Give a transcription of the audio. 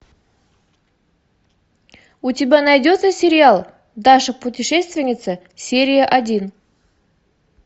у тебя найдется сериал даша путешественница серия один